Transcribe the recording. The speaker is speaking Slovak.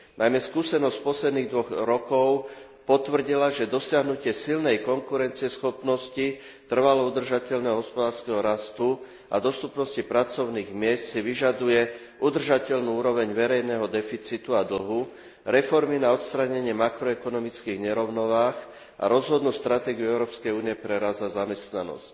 Najmä skúsenosť posledných dvoch rokov potvrdila, že dosiahnutie silnej konkurencieschopnosti, trvalo udržateľného hospodárskeho rastu a dostupnosti pracovných miest si vyžaduje udržateľnú úroveň verejného deficitu a dlhu, reformy na odstránenie makroekonomických nerovnováh a rozhodnú stratégiu EÚ pre rast a zamestnanosť.